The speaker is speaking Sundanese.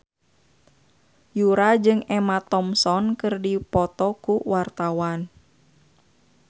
Yura jeung Emma Thompson keur dipoto ku wartawan